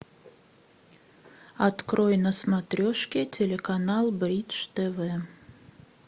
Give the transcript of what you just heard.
открой на смотрешке телеканал бридж тв